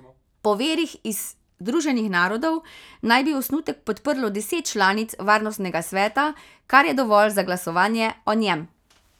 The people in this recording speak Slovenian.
Po virih iz Združenih narodov naj bi osnutek podprlo deset članic varnostnega sveta, kar je dovolj za glasovanje o njem.